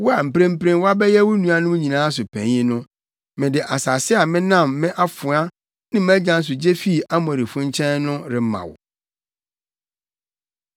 Wo a mprempren woabɛyɛ wo nuanom nyinaa so panyin no, mede asase a menam me afoa ne mʼagyan so gye fii Amorifo nkyɛn no rema wo.”